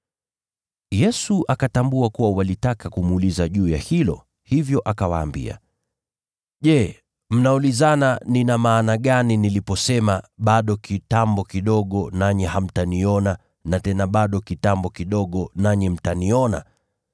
Yesu akatambua kuwa walitaka kumuuliza juu ya hilo, hivyo akawaambia, “Je, mnaulizana nina maana gani niliposema, ‘Bado kitambo kidogo nanyi hamtaniona na tena bado kitambo kidogo nanyi mtaniona’?